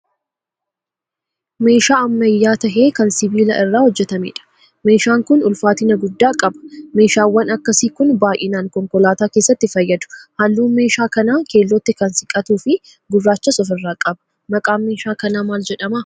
Meeshaa ammayyaa tahee kan sibiila irraa hojjetameedha. Meeshaan kun ulfaatina guddaa qaba. Meeshaawwan akkasii kun baayinaan konkolaataa keessatti fayyadu. Halluun meeshaa kanaa keellootti kan siqatuu fi gurraachas ofirraa qaba. maqaan meeshaa kanaa mal jedhama?